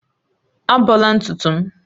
Ábọ̀la ntutu m